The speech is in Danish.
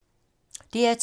DR2